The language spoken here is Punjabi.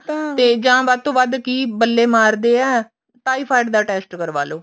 ਤੇ ਜਾਂ ਵਧ ਤੋਂ ਵੱਧ ਕੀ ਬੱਲੇ ਮਾਰਦੇ ਆ typhoid ਦਾ test ਕਰਵਾਲੋ